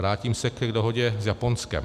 Vrátím se k dohodě s Japonskem.